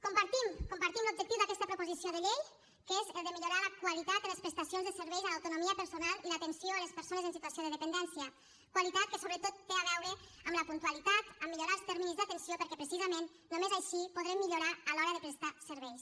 compartim el compartim l’objectiu d’aquesta proposició de llei que és el de millorar la qualitat en les prestacions de serveis a l’autonomia personal i l’atenció a les persones en situació de dependència qualitat que sobretot té a veure amb la puntualitat amb millorar els terminis d’atenció perquè precisament només així podrem millorar a l’hora de prestar serveis